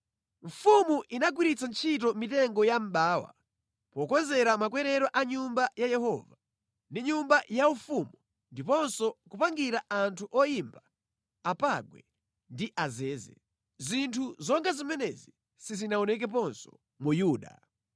Mfumu inagwiritsa ntchito mitengo ya mʼbawa pokonzera makwerero a Nyumba ya Yehova ndi nyumba yaufumu ndiponso kupangira anthu oyimba apangwe ndi azeze. Zinthu zonga zimenezi sizinaonekeponso mu Yuda).